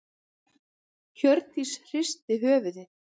Hjördís hristi höfuðið.